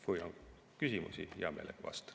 Kui on küsimusi, hea meelega vastan.